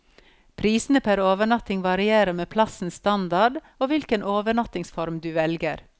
Prisene per overnatting varierer med plassens standard og hvilken overnattingsform du velger.